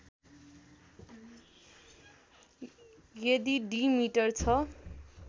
यदि diameter छ